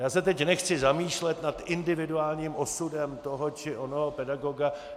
Já se teď nechci zamýšlet nad individuálním osudem toho či onoho pedagoga.